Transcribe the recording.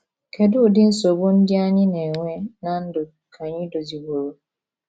Kedu udi Nsogbu ndị anyị na - enwe ná ndụ ka anyị doziliworo?